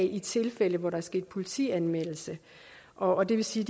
i tilfælde hvor der er sket politianmeldelse og det vil sige